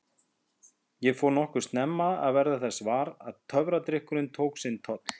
Ég fór nokkuð snemma að verða þess var að töfradrykkurinn tók sinn toll.